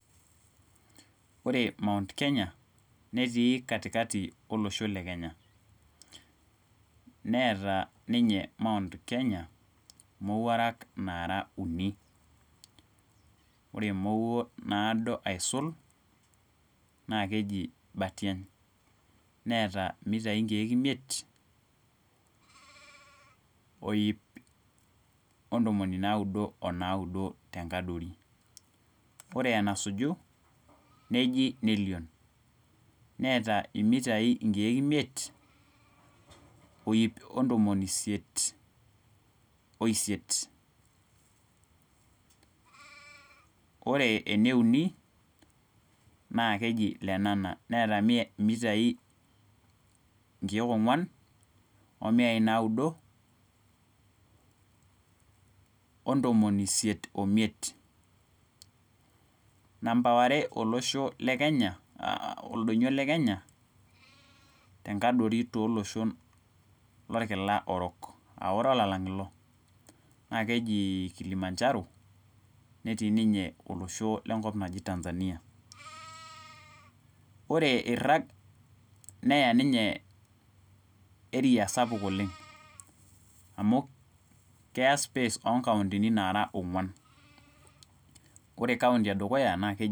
Ore my Kenya, netii katikati olosho le Kenya. neeta ninye my Kenya imowuarak naara, uni. ore emowuo naara uni, ore emowuo naado aisul naa keji mpatiany. neeta mitai nkeek imiet oip ontomoni naudo o naaduo, tenkadori. Ore emasuju, neji nelion, neeta mitai nkeek imiet, oip, ontomoni isiet, oisiet. Ore ene uni naa keji lenana. neeta mitai nkeek imiet, omitai naaduo, ontomoni isiet oimiet. namba are olosho le kenya, oldoinyio le Kenya, tenkadori toloshon lolkila orok, aa ore olalang ilo, naa keji Kilimanjaro, netii ninye olosho lenkop naji Tanzania. ore irag neya ninye, area sapuk oleng. amu keya nkauntini onguan. Ore kaunti edukuya naa keji.